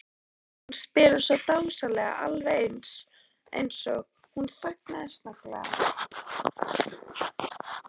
Hún spilar svo dásamlega, alveg eins og. Hún þagnaði snögglega.